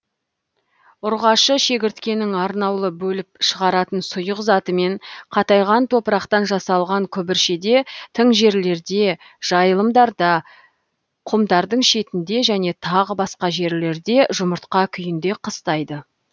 ұрғашы шегіртткенің арнаулы бөліп шығаратын сұйық затымен қатайған топырақтан жасалған күбіршеде тың жерлерде жайылымдарда құмдардың шетінде және тағы басқа жерлерде жұмыртқа күйінде қыстайды